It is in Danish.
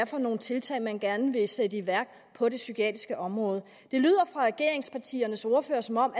for nogle tiltag man gerne ville sætte i værk på det psykiatriske område det lyder fra regeringspartiernes ordførere som om